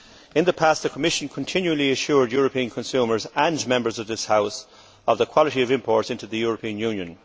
In the past the Commission continually assured European consumers and Members of this House of the quality of imports into the European Union.